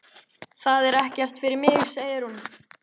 Það er ekkert fyrir mig, segir hún.